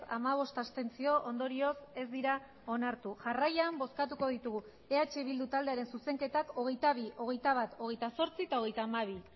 hamabost abstentzio ondorioz ez dira onartu jarraian bozkatuko ditugu eh bildu taldearen zuzenketak hogeita bi hogeita bat hogeita zortzi eta hogeita hamabi